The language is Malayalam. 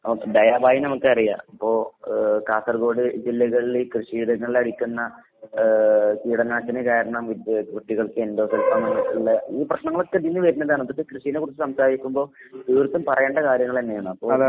നമുക്ക് ദയാഭായിനമുക്കറിയാം. അപ്പൊ ഏഹ് കാസർഗോഡ് ജില്ലകളില് കൃഷിയിടങ്ങളിലടിക്കുന്ന ഏഹ് കീടനാശിനി കാരണം വിദ്യ കുട്ടികൾക്കെൻഡോസൽഫാൻ വന്ന്ട്ട്ള്ള ഈ പ്രശ്നങ്ങളൊക്കെ ഇതീന്ന് വരണതാണ്. ഇതൊക്കെ കൃഷീനെക്കുറിച്ച് സംസാരിക്കുമ്പോ തീർത്തും പറയേണ്ട കാര്യങ്ങളന്നേണ്. അപ്പൊ